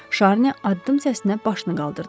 Şarni addım səsinə başını qaldırdı.